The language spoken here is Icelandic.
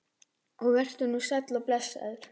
Og vertu nú sæll og blessaður.